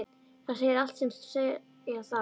Það segir allt sem segja þarf.